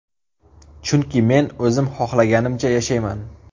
Chunki men o‘zim xohlaganimcha yashayman.